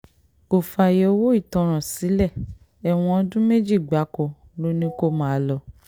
kò fààyè owó ìtanràn sílé ẹ̀wọ̀n ọdún méjì gbáko ló ní kó máa lọ